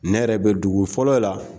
Ne yɛrɛ bɛ dugu fɔlɔ la